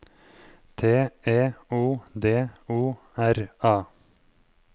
T E O D O R A